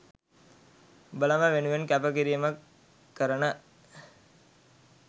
උඹලම වෙනුවෙන් කැප කිරීමක් කරන